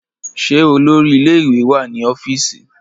Ṣé olórí ilé ìwé wá ní ọ́fíìsì?